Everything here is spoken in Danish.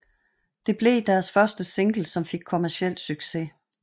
Det blev deres første single som fik kommerciel succes